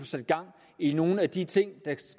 sat gang i nogle af de ting